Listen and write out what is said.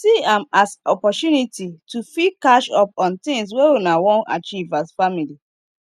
see am as opportunity to fit catch up on things wey una wan achieve as family